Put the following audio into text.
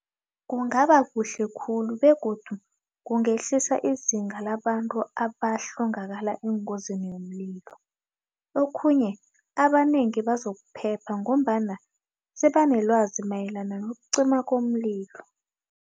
Kungaba kuhle khulu begodu kungehlisa izinga labantu abahlongakala engozini yomlilo okhunye, abanengi bezokuphepha ngombana sebanelwazi mayelana nokucima komlilo.